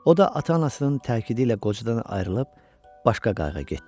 O da ata-anasının tərkidi ilə qocadan ayrılıb başqa qayığa getdi.